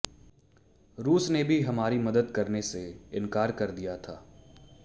रूस ने भी हमारी मदद करने से इनकार कर दिया था